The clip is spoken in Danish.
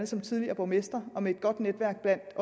som tidligere borgmester og med et godt netværk